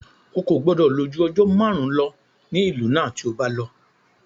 Ó kò gbọdọ̀ lò ju ọjọ́ márùn-ún lọ ní ìlú náà tí o bá lọ.